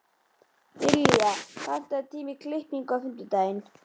Dilja, pantaðu tíma í klippingu á fimmtudaginn.